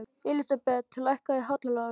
Elísabeth, lækkaðu í hátalaranum.